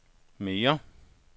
mere